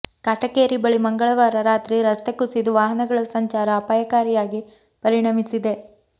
ಕಾಟಕೇರಿ ಬಳಿ ಮಂಗಳವಾರ ರಾತ್ರಿ ರಸ್ತೆ ಕುಸಿದು ವಾಹನಗಳ ಸಂಚಾರ ಅಪಾಯಕಾರಿಯಾಗಿ ಪರಿಣಮಿಸಿದೆ